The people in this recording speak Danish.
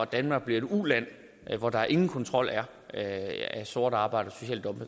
danmark et uland hvor der ingen kontrol er af sort arbejde